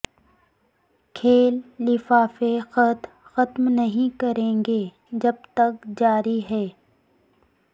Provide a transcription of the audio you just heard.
کھیل لفافے خط ختم نہیں کریں گے جب تک جاری ہے